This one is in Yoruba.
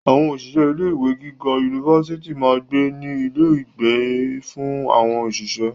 Àwọn òṣìṣẹ́ ilé ìwé giga yunifásítì máa ń gbé ní ilé ìgbé fún àwọn òṣìṣẹ́.